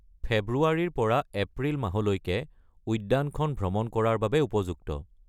ফেব্ৰুৱাৰীৰ পৰা এপ্ৰিল মাহলৈকে উদ্যানখন ভ্ৰমণ কৰাৰ বাবে উপযুক্ত।